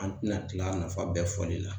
An tɛna kila nafa bɛɛ fɔli la.